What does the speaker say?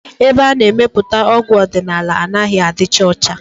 Ebe ana-emepụta ọgwụ ọdịnala anaghị adịcha ọcha